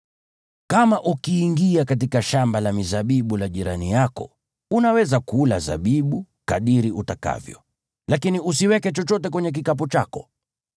Kama ukiingia katika shamba la mizabibu la jirani yako, unaweza kula zabibu kadiri utakavyo, lakini usiweke chochote kwenye kikapu chako.